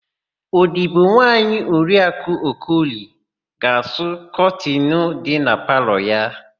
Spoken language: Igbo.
Odibonwaanyị Oriakụ Okoli ga-asụ kọtịnụ dị na palọ ha.